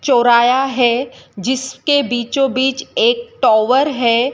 चौराया है जिसके बीचों बीच एक टावर है।